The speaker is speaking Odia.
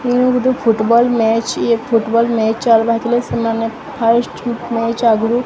ମୁଁ ଗୋଟେ ଫୁଟବଲ୍ ମେଚ୍ ଇଏ ଫୁଟବଲ୍ ମେଚ୍ ହେଇଥିଲେ ସେମାନେ ଫାଷ୍ଟ ମେଚ୍ ଆଗରୁ -- ମୁଁ